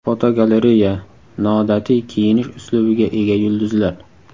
Fotogalereya: Noodatiy kiyinish uslubiga ega yulduzlar.